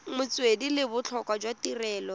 metswedi le botlhokwa jwa tirelo